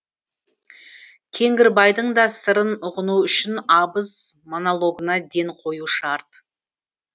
кеңгірбайдың да сырын ұғыну үшін абыз монологына ден қою шарт